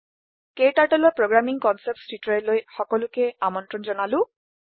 KTurtleৰ programming concepts টিউটৰিয়েললৈ সকলোকে আমনত্ৰণ জনালো